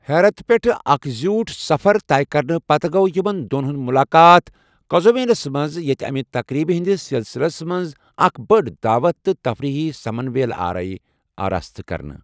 حیرت پیٹھہٕ اکھ زیوٗٹھ سفر طے کرنہٕ پتہٕ گو٘و یمن دو٘ن ہُند ملاقات قزوینس منٛز ییٚتہِ امہِ تقریبہٕ ہِندِس سِلسِلس منٛز اکھ بٔڈ دعوت تہٕ تفریحی سمن ویلہٕ آرٲیی آراستہٕ كرنہٕ ۔